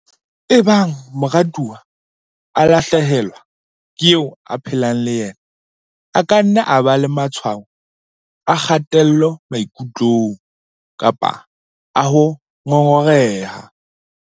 "Ebang morutwana a lahle helwa ke eo a phelang le yena, a ka nna a ba le matshwao a kgatello maikutlong kapa a ho ngongoreha."